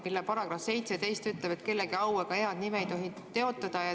Selle § 17 ütleb, et kellegi au ega head nime ei tohi teotada.